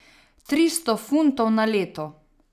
Tristo funtov na leto.